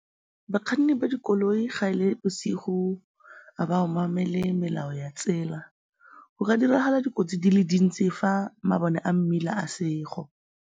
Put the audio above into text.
Bakganni ba dikoloi ga e le bosigo ga ba obamele melao ya tsela. Go ka diragala dikotsi di le dintsi fa mabone a mmila a sego.